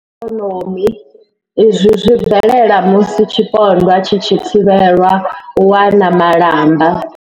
U tambudzwa lwa ikonomi izwi zwi bvelela musi tshipondwa tshi tshi thivhelwa u wana malamba.